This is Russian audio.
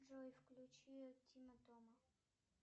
джой включи тима тома